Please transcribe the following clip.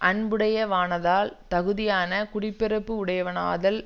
அன்புடையவனாதல் தகுதியானக் குடி பிறப்பு உடையவனாதல்